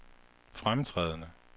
fremtrædende